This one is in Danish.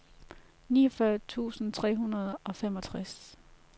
niogfyrre tusind tre hundrede og femogtres